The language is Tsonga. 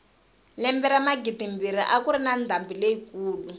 lembe ra magidimbirhi a kuri na ndhambi leyi kulu